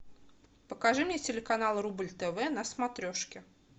покажи мне телеканал рубль тв на смотрешке